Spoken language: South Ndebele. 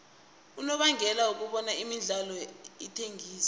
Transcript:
unobangela wokobana imidlalo ithengiswe